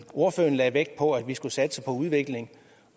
ordføreren lagde vægt på at vi skal satse på udvikling